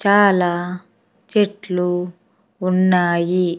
చాలా చెట్లు ఉన్నాయి.